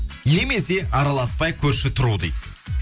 немесе араласпай көрші тұру дейді